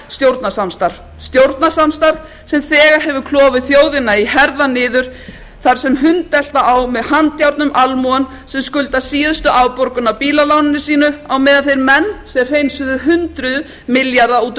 stjórnarsamstarf stjórnarsamstarf sem þegar hefur klofið þjóðina í herðar niður þar sem hundelta á með handjárnum almúgann sem skuldar síðustu afborgun af bílaláninu sínu á meðan þeir menn sem hreinsuðu hundruð milljarða út úr